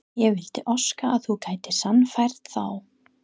Ég vildi óska að þú gætir sannfært þá